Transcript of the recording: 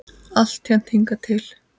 Alltént hingað til.